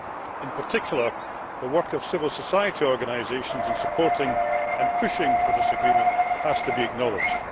In particular, the work of civil society organisations in supporting and pushing for this agreement has to be acknowledged.